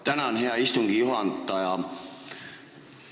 Tänan, hea istungi juhataja!